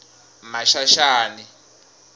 maxaxani